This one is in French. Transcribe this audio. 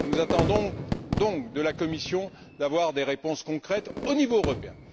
Nous attendons donc de la Commission d'avoir des réponses concrètes au niveau européen.